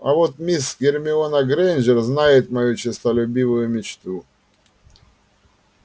а вот мисс гермиона грэйнджер знает мою честолюбивую мечту